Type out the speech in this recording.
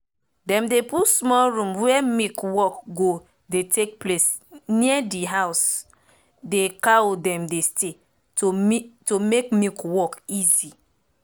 dem put small room were milk work go dey take place near de house de cow dem dey stay to make milk work easy